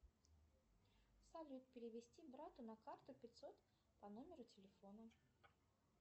салют перевести брату на карту пятьсот по номеру телефона